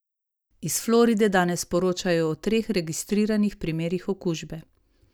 Iz Floride danes poročajo o treh registriranih primerih okužbe.